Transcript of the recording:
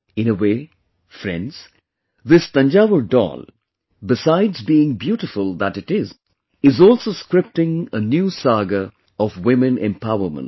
In a way, friends, this Thanjavur Doll besides being beautiful that it is, is also scripting a new saga of women empowerment